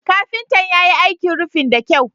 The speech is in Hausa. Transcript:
Kafintan ya yi aikin rufin da kyau.